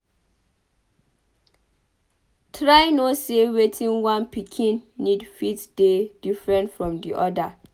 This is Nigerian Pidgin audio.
Try know sey wetin one pikin need fit dey different from di oda